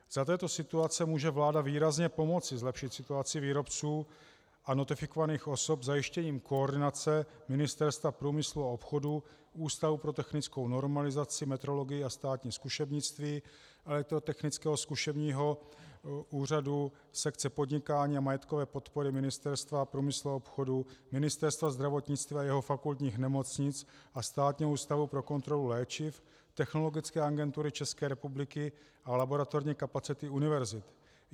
Za této situace může vláda výrazně pomoci zlepšit situaci výrobců a notifikovaných osob zajištěním koordinace Ministerstva průmyslu a obchodu, Ústavu pro technickou normalizaci, metrologii a státní zkušebnictví, Elektrotechnického zkušebního úřadu, sekce podnikání a majetkové podpory Ministerstva průmyslu a obchodu, Ministerstva zdravotnictví a jeho fakultních nemocnic a Státního ústavu pro kontrolu léčiv, Technologické agentury České republiky a laboratorní kapacity univerzit.